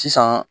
Sisan